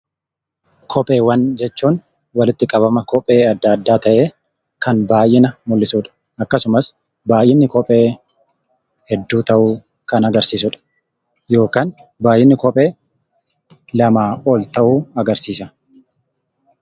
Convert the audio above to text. Kopheewwan jechuun walitti qabama kophee adda addaa ta'ee kan baay'ina mul'isudha. Akkasumas baay'inni kophee hedduu ta'uu kan agarsiisudha. Yookaan baay'inni kophee lamaa ol ta'uu agarsiisa.